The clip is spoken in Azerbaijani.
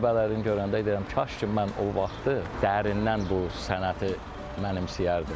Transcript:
Tələbələrin görəndə deyirəm, kaş ki, mən o vaxtı dərindən bu sənəti mənimsəyərdim.